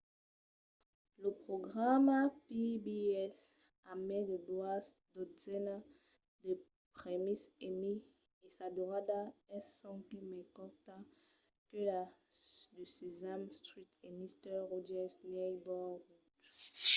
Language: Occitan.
lo programa pbs a mai de doas dotzenas de prèmis emmy e sa durada es sonque mai corta que la de sesame street e mister rogers' neighborhood